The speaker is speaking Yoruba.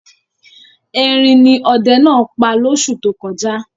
Erin ni ọdẹ náà pa lóṣù tó kọjá.